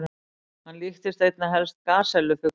Hann líktist einna helst gasellu-fugli.